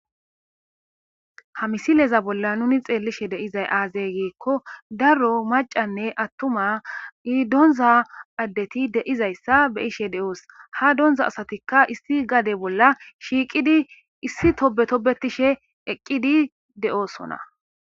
ha misileza bolla nuni xeellishe deizay aazey giikko daro macanne attuma doonza addeti deizayssa beyishe de7oos ha donza asatikka issi gade bolla shiiqidi issi tobe tobetishe eqqidi de7oosona